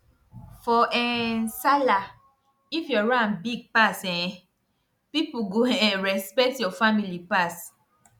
for um sallah if your ram big pass um people go um respect your family pass